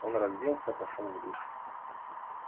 он разделся пошёл в душ